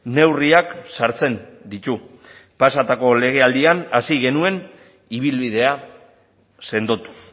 neurriak sartzen ditu pasatako legealdian hasi genuen ibilbidea sendotuz